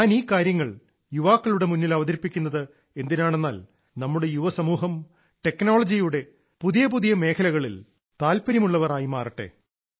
ഞാൻ ഈ കാര്യങ്ങൾ യുവാക്കളുടെ മുന്നിൽ അവതരിപ്പിക്കുന്നത് എന്തിനാണെന്നാൽ നമ്മുടെ യുവസമൂഹം ടെക്നോളജിയുടെ പുതിയ പുതിയ മേഖലകളിൽ താല്പര്യമുള്ളവർ ആയി മാറട്ടെ